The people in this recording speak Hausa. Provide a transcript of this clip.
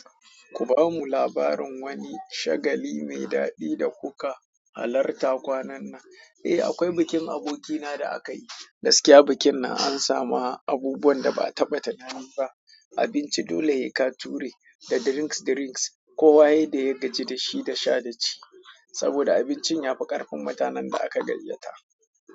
Ku ba mu labarin wani shagali mai daɗi da kuka halarta kwanan nan? Eh, akwai bikin abokina da aka yi, gaskiya bikin na an samu abubuwan da ba a taɓa tunanin ba, abinci dole ya ka ture da drinks drinks, kowa ya yi da ya gaji da shi da sha da ci. Saboda abincin ya fi ƙarfin mutanen da aka gayyata.